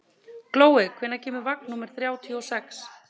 Glói, hvenær kemur vagn númer þrjátíu og sex?